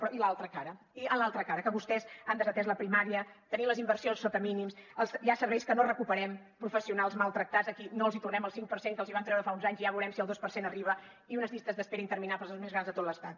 però i l’altra cara i en l’altra cara que vostès han desatès la primària tenim les inversions sota mínims hi ha serveis que no recuperem professionals maltractats a qui no els tornem el cinc per cent que els vam treure fa uns anys i ja veurem si el dos per cent arriba i unes llistes d’espera interminables les més grans de tot l’estat